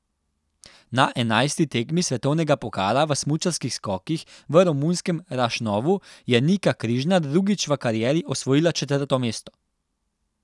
Na enajsti tekmi svetovnega pokala v smučarskih skokih v romunskem Rašnovu je Nika Križnar drugič v karieri osvojila četrto mesto.